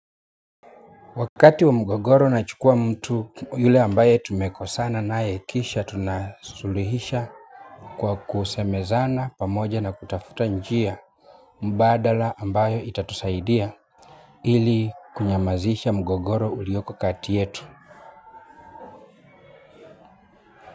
Wakati wa mgogoro na chukua mtu yule ambaye tumekosana naye kisha tunasuluhisha kwa kusemezana pamoja na kutafuta njia mbadala ambayo itatusaidia ili kunyamazisha mgogoro ulioko kati yetu.